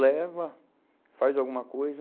Leva, faz alguma coisa,